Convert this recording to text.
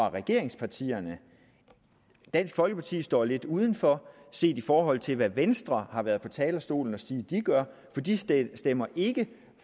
af regeringspartierne dansk folkeparti står lidt udenfor set i forhold til hvad venstre har været på talerstolen at sige de gør for de stemmer stemmer ikke